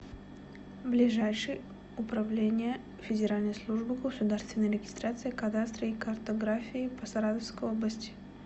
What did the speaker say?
ближайший управление федеральной службы государственной регистрации кадастра и картографии по саратовской области